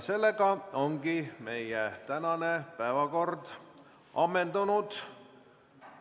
Sellega on meie tänane päevakord ammendunud.